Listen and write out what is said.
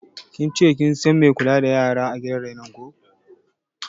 Kin ce kin san mai kula da yara a gidan renon yaran ko?